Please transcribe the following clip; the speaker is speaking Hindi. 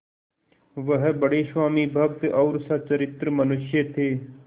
वह बड़े स्वामिभक्त और सच्चरित्र मनुष्य थे